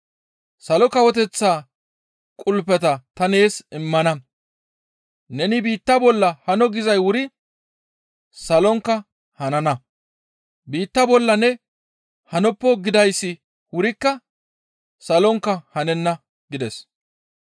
Salo Kawoteththa qulpeta ta nees immana; neni biitta bolla hano gizay wuri salonkka hanana. Biitta bolla ne hanoppo gidayssi wurikka salonkka hanenna» gides.